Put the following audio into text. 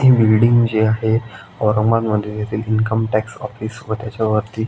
हि बिल्डिंग जी आहे औरंगाबाद मधे येथील इन्कम टॅक्स ऑफिस व त्याच्या वरती--